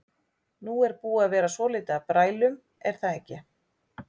Nú er búið að vera svolítið af brælum er það ekki?